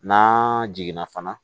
N'an jiginna fana